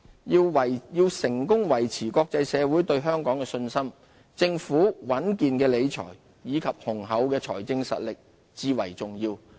要成功維持國際社會對香港的信心，政府穩健的理財，以及雄厚的財政實力至為重要。